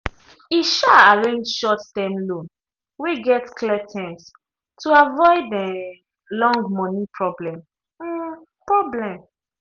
e um arrange short-term loan wey get clear terms to avoid um long money problem. problem.